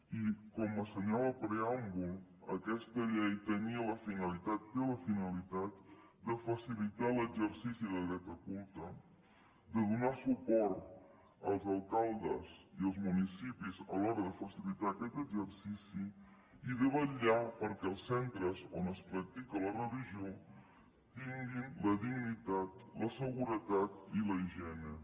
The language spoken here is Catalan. i com assenyala el preàmbul aquesta llei tenia la finalitat té la finalitat de facilitar l’exercici de dret a culte de donar suport als alcaldes i als municipis a l’hora de facilitar aquest exercici i de vetllar perquè els centres on es practica la religió tinguin la dignitat la seguretat i la higiene